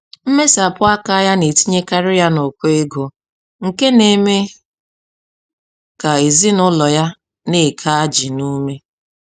Mmesapụ aka ya na-etinyekarị ya n'ụkọ ego, nke n'eme ka ezinụlọ ya n'eke ajị n'ume.